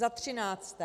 Za třinácté.